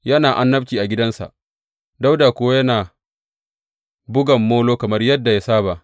Yana annabci a gidansa, Dawuda kuwa yana bugan molo kamar yadda ya saba.